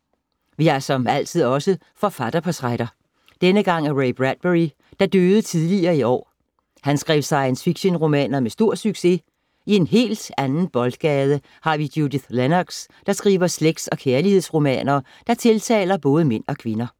Vi har som altid også forfatterportrætter. Denne gang af Ray Bradbury, der døde tidligere i år. Han skrev science fiction-romaner med stor succes. I en helt anden boldgade, har vi Judith Lennox, der skriver slægts- og kærlighedsromaner, der tiltaler både mænd og kvinder.